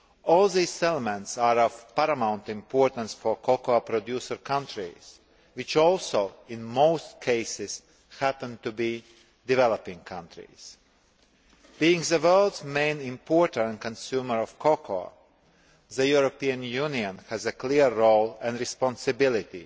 All these elements are of paramount importance for cocoa producer countries, which also, in most cases, happen to be developing countries. Being the world's main importer and consumer of cocoa, the European Union has a clear role and a responsibility